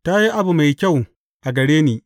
Ta yi abu mai kyau a gare ni.